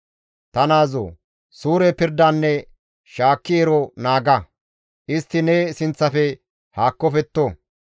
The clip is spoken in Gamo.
Ta naazoo! Suure pirdanne shaakki ero naaga; istti ne sinththafe haakkofetto.